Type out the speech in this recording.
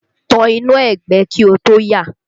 Tan iná ẹgbẹ́ kí o tó yà!